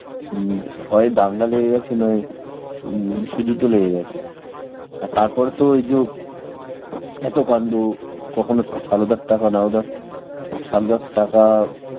হম হয় দাঙ্গা লেগে গেছে নয় হম বিশ্বযুদ্ধ লেগে গেছে. আর তারপরে তো ওইজো এত কান্ড, কখনো সারদার টাকা নারোদা~, সারদার টাকা,